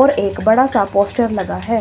और एक बड़ा सा पोस्टर लगा है।